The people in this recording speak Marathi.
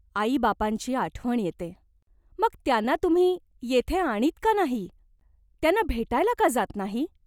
आईबापांची आठवण येते." "मग त्यांना तुम्ही येथे आणीत का नाही ? त्यांना भेटायला का जात नाही ?